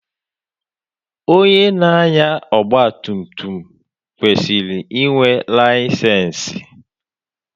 Onye na-anya ọgba tum tum kwesịrị inwe layisensi.